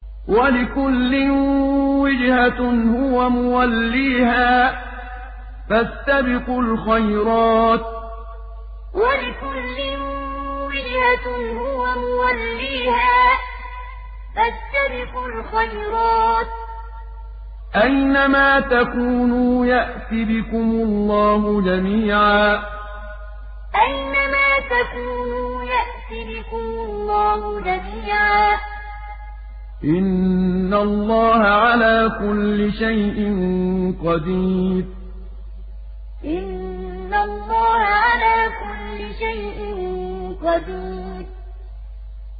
وَلِكُلٍّ وِجْهَةٌ هُوَ مُوَلِّيهَا ۖ فَاسْتَبِقُوا الْخَيْرَاتِ ۚ أَيْنَ مَا تَكُونُوا يَأْتِ بِكُمُ اللَّهُ جَمِيعًا ۚ إِنَّ اللَّهَ عَلَىٰ كُلِّ شَيْءٍ قَدِيرٌ وَلِكُلٍّ وِجْهَةٌ هُوَ مُوَلِّيهَا ۖ فَاسْتَبِقُوا الْخَيْرَاتِ ۚ أَيْنَ مَا تَكُونُوا يَأْتِ بِكُمُ اللَّهُ جَمِيعًا ۚ إِنَّ اللَّهَ عَلَىٰ كُلِّ شَيْءٍ قَدِيرٌ